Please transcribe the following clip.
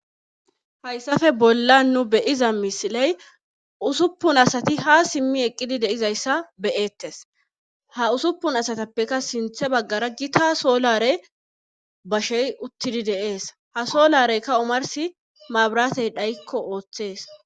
Haysape bollan nu be'aza misiley Ussupun asati ha idmi eqidi be'etes ha Ussupun asatape sintha bagara Gita solare bashey Des ha solare bashey utidi de'es ha solarey omarsi mabiratey dhayinko othes